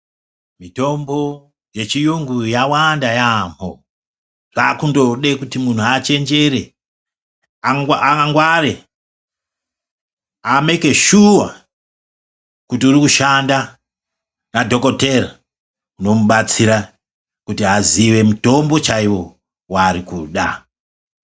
Mitombo yechi yungu ya wanda yambo zvaku ndode kuti muntu achenjere angware ameke shuwa kuti uri kushanda ne madhokotera ano mubatsira kuti azive mitombo chaiwo wa ari kuda.